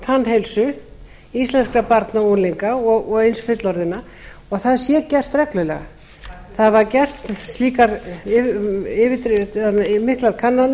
tannheilsu íslenskra barna og unglinga og eins fullorðinna og það sé gert reglulega miklar kannanir voru gerðar á árunum nítján hundruð áttatíu og sex nítján